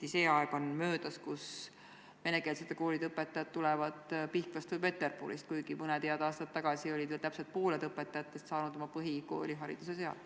Ilmselt on nüüd küll möödas see aeg, kui venekeelsete koolide õpetajad tulevad Pihkvast või Peterburist, kuigi veel mõned head aastad tagasi olid täpselt pooled õpetajatest saanud oma põhikoolihariduse seal.